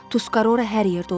Tuskarora hər yerdə olur.